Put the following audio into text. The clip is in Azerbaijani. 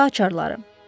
Bu da açarları.